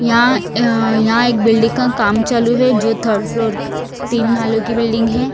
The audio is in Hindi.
यहाँ अ यहाँ एक बिल्डिंग का काम चालू है जो थर्ड फ्लोर तिन मालो की बिल्डिंग है।